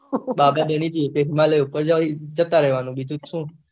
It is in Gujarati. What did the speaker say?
બાબા બની ઉપર જતા રેહવાનું બીજું શું